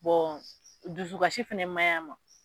dusukasi fɛnɛ ma ɲi a ma.